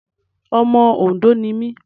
Ọmọ Òndó ni mí.